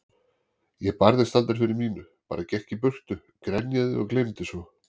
Ég barðist aldrei fyrir mínu, bara gekk í burtu, grenjaði og gleymdi svo.